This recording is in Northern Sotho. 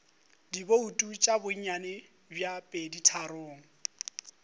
dibouto tša bonnyane bja peditharong